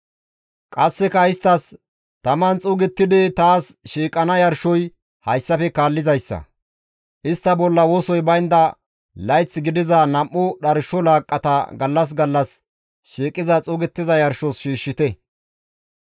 Qasseka isttas, ‹Taman xuugettidi taas shiiqana yarshoy hayssafe kaallizayssa; istta bolla wosoy baynda layth gidiza nam7u dharsho laaqqata gallas gallas shiiqi xuugettiza yarshos shiishshite.